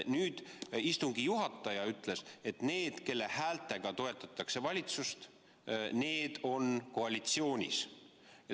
Nüüd istungi juhataja ütles, et need, kelle häältega toetatakse valitsust, on koalitsioonis.